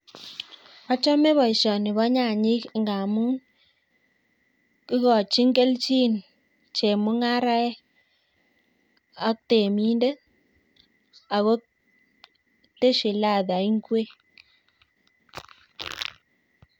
Achame boisioni bo nyanyek amun igochin kelchin chemung'araek ak temindet ako tesyin ladha ingwek